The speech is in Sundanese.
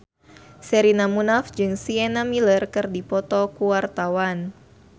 Sherina Munaf jeung Sienna Miller keur dipoto ku wartawan